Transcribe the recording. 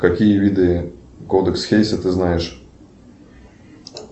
какие виды кодекс хейса ты знаешь